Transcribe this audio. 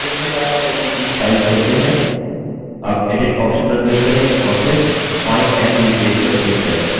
अब edit option पर click करें और फिर find and replace पर click करें